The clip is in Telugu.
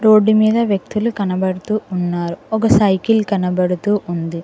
రోడ్డు మీద వ్యక్తులు కనబడుతూ ఉన్నారు ఒక సైకిల్ కనబడుతూ ఉంది.